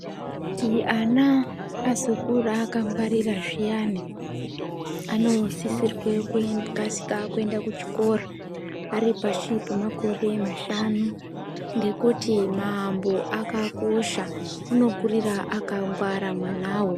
Kuti ana azokura akangwarira zviyani, anosisirwa kukasira kuenda kuchikora ari pashi pemakore mashanu ngekuti maambo akakosha unokurira akangwarira mwanawo.